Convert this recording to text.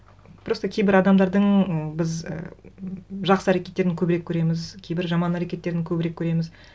просто кейбір адамдардың біз ы жақсы әрекеттерін көбірек көреміз кейбір жаман әрекеттерін көбірек көреміз